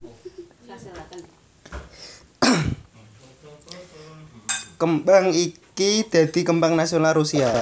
Kembang iki dadi kembang nasional Rusia